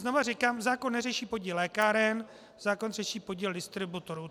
Znovu říkám, zákon neřeší podíl lékáren, zákon řeší podíl distributorů.